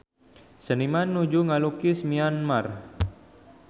Seniman nuju ngalukis Myanmar